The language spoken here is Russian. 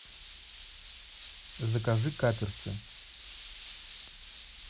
закажи каперсы